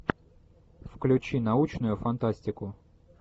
включи научную фантастику